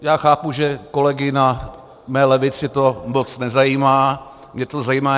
Já chápu, že kolegy na mé levici to moc nezajímá, mě to zajímá.